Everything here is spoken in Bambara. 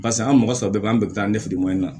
Parisa an mɔgɔ saba bɛɛ bɛ an bɛɛ bɛ taa an ni firiman in na